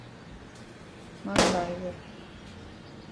макгайвер